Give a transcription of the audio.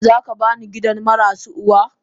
Zaka bini gidan marasu uwa.?